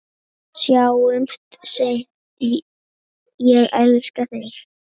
Sjáumst seinna, ég elska þig.